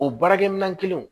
O baarakɛminɛn kelen